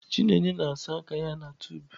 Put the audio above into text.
Chineye na-asa aka ya na tub.